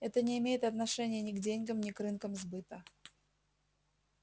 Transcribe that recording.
это не имеет отношения ни к деньгам ни к рынкам сбыта